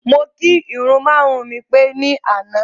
Mo kirun mara-àrùn mi pé ní àná.